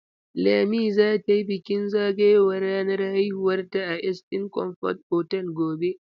Lami za ta yi bikin zagayowar ranar haihuwarta a Eastern comfort otal gobe.